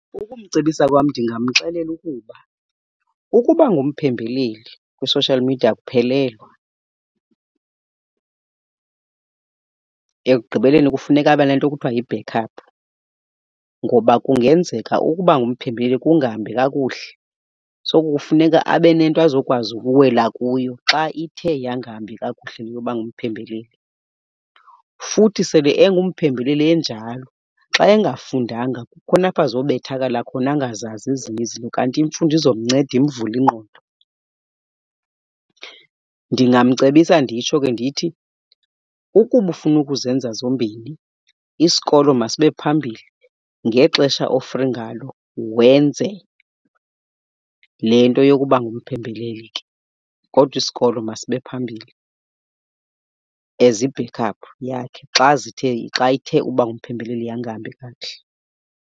Ukumcebisa kwam ndingamxelela ukuba, ukuba ngumphembeleli kwi-social media akuphelelwa. Ekugqibeleni kufuneka abe nento ekuthiwa yi-backup ngoba kungenzeka ukuba ngumphembeleli kungahambi kakuhle. So kufuneka abe nento azokwazi ukuwela kuyo xa ithe yangahambi kakuhle le yoba ngumphembeleli. Futhi sele engumphembeleli enjalo xa engafundanga kukhona apha azobethakala khona angazazi ezinye izinto, kanti imfundo izomnceda imvule ingqondo. Ndingamcebisa nditsho ke ndithi, ukuba ufuna ukuzenza zombini isikolo masibe phambili, ngexesha o-free ngalo wenze le nto yokuba ngumphembeleli ke. Kodwa isikolo masibe phambili as i-backup yakhe xa zithe, xa ithe uba ngumphembeleli yangahambi kakuhle.